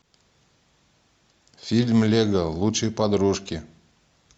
фильм лего лучшие подружки